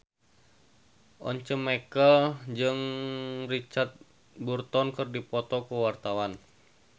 Once Mekel jeung Richard Burton keur dipoto ku wartawan